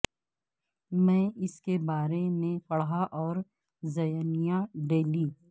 میں اس کے بارے میں پڑھا اور زینیا ڈیلی